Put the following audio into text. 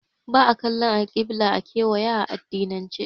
Ba'a kallan alƙibila a kewaya a addinance